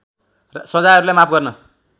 सजायहरूलाई माफ गर्न